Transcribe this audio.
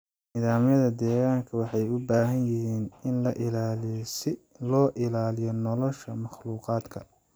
Nidaamyada deegaanka waxay u baahan yihiin in la ilaaliyo si loo ilaaliyo nolosha makhluuqaadka.